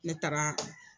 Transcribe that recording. Ne taara